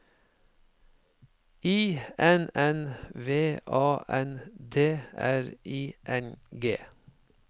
I N N V A N D R I N G